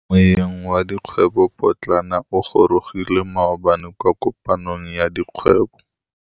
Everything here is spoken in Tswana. Moêng wa dikgwêbô pôtlana o gorogile maabane kwa kopanong ya dikgwêbô.